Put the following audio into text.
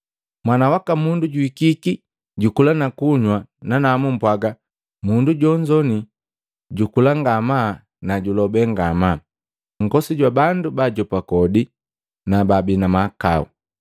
Mwana waka Mundu juhikiki, jukula na kunywa, nanamu mpwaga, ‘Mundu jonzo jukula ngamaa na julobe ngamaa, nkosi jwa bandu baajopa kodi na baabi na mahakau!’